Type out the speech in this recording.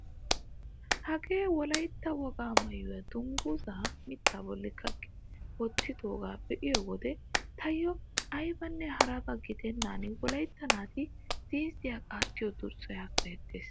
hagee wolayytta wogaa maayuwaa dunguzaa mittaa bolli kaqqi wottidoogaa be'iyoo wode taayoo aybanne harabaa gidennan wolaytta naati ziizziyaa qaattiyoo durssay hasayettees!